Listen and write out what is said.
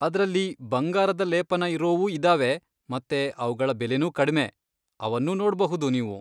ಅದ್ರಲ್ಲಿ ಬಂಗಾರದ ಲೇಪನ ಇರೋವೂ ಇದಾವೆ ಮತ್ತೆ ಅವ್ಗಳ ಬೆಲೆನೂ ಕಡ್ಮೆ. ಅವನ್ನೂ ನೋಡ್ಬಹುದು ನೀವು.